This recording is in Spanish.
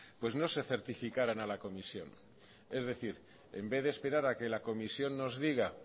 pues no se certificaran a la comisión es decir en vez de esperar a que la comisión nos diga